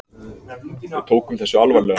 Við tókum þessu alvarlega.